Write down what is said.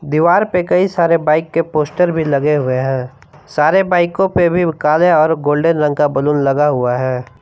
दीवार पे कई सारे बाइक के पोस्टर भी लगे हुए हैं सारे बाइकों पर काले और गोल्डन रंग का बैलून लगा हुआ है।